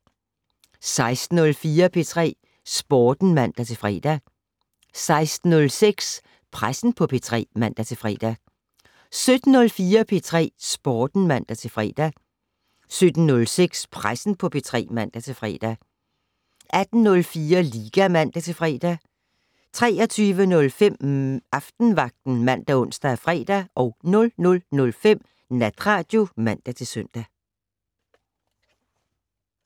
16:04: P3 Sporten (man-fre) 16:06: Pressen på P3 (man-fre) 17:04: P3 Sporten (man-fre) 17:06: Pressen på P3 (man-fre) 18:04: Liga (man-fre) 23:05: Aftenvagten ( man, ons, fre) 00:05: Natradio (man-søn)